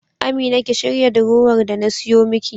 Amina ki shirya durowar da na siyo miki.